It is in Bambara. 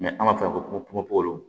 an b'a fɔ ko popo